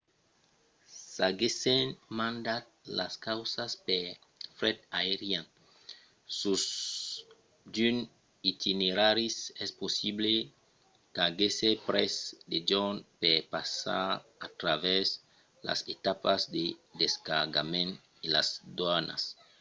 s'aguèssen mandat las causas per fret aerian sus d'unes itineraris es possible qu'aguèsse pres de jorns per passar a travèrs las etapas de descargament e las doanas